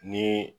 Ni